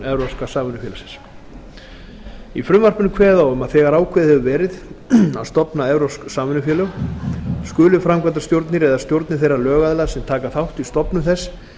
evrópska samvinnufélagsins í frumvarpinu er kveðið á um að þegar ákveðið hefur verið að stofna evrópsk samvinnufélög skuli framkvæmdastjórnir eða stjórnir þeirra lögaðila sem taka þátt í stofnun þess